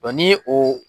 ni ye o